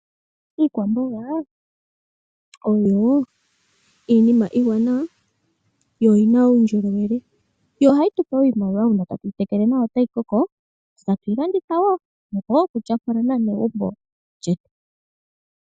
Iikwamboga oyo iinima iiwanawa yo oyina uundjolowele yo ohayi tupe iimaliwa uuna tatu tekele nawa etayi koko etatu yi landitha wo nenge tu tyapule momagumbo getu.